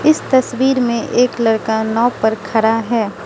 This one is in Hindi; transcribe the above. इस तस्वीर में एक लड़का नाव पर खरा है।